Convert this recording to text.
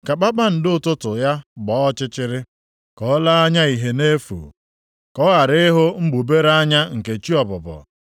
Ka kpakpando ụtụtụ ya gbaa ọchịchịrị, ka o lee anya ìhè na-efu, ka ọ ghara ihu mgbubere anya nke chi ọbụbọ,